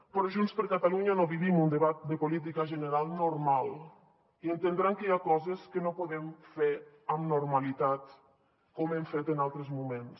però a junts per catalunya no vivim un debat de política general normal i entendran que hi ha coses que no podem fer amb normalitat com hem fet en altres moments